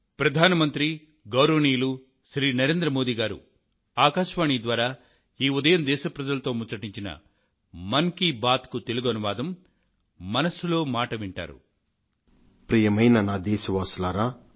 ప్రియమైన నా దేశ వాసులారా